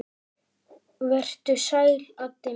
Vertu sæll, Addi minn.